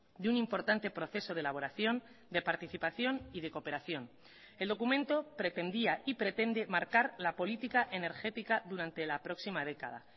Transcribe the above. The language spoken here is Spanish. de un importante proceso de elaboración de participación y de cooperación el documento pretendía y pretende marcar la política energética durante la próxima década